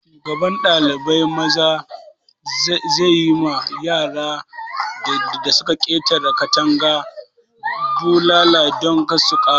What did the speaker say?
Shugaban ɗalibai maza zai yi ma yaran da su ka ƙetara katanga bulala don kar su ƙara.